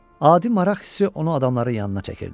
Adi maraq hissi onu adamların yanına çəkirdi.